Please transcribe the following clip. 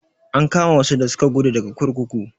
An kama wasu da suka guda daga kurkuku.